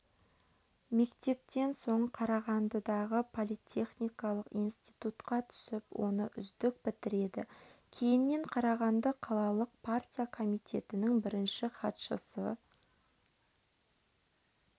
мектептен соң қарағандыдағы политехникалық институтқа түсіп оны үздік бітіреді кейіннен қарағанды қалалық партия комитетінің бірінші хатшысы